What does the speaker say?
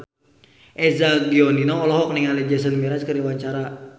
Eza Gionino olohok ningali Jason Mraz keur diwawancara